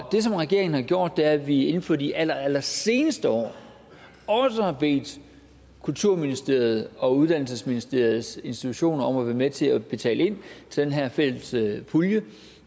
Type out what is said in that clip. som regeringen har gjort er at vi inden for de allerseneste år også har bedt kulturministeriet og uddannelsesministeriets institutioner om at være med til at betale ind til den her fælles pulje